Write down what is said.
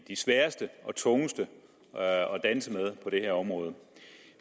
de sværeste og tungeste at danse med på det her område